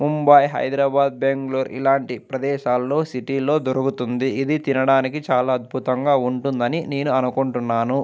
ముంబై హైదరాబాద్ బెంగుళూరు ఇలాంటి ప్రదేశాల్లో సిటీ లో దొరుకుతుంది ఇది తినడానికి చాల అద్భుతంగా ఉంటుందని నేను అనుకుంటున్నాను.